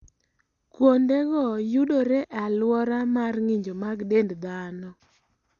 Kuondego yudore e alwora mar ng'injo mag dend dhano.